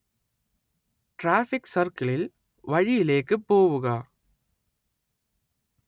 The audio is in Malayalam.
ട്രാഫിക് സർക്കിളിൽ, വഴിയിലേക്ക് പോവുക